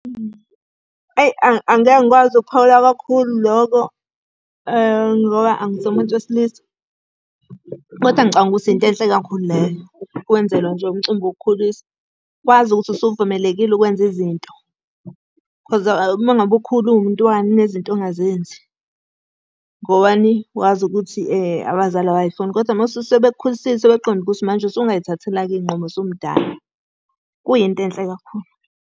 Eyi angeke ngikwazi ukuphawula kakhulu lokho, ngoba angisuye umuntu wesilisa. Kodwa ngicabanga ukuthi into enhle kakhulu leyo. Ukwenzelwa nje umcimbi wokukhuliswa, wazi ukuthi usuvumelekile ukwenza izinto. Cause uma ngabe ukhula uwumntwana kunezinto ongazenzi. Ngobani, wazi ukuthi abazali abay'funi, kodwa uma sekuwukuthi sebekukhulisile basuke sebeqonde ukuthi manje usungay'thathela-ke Iy'nqumo usumdala. Kuyinto enhle kakhulu.